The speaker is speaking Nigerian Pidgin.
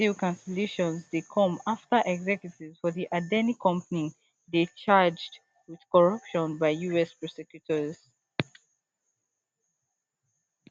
dis deal cancellation dey come afta executives for di adani company dey charged wit corruption by us prosecutors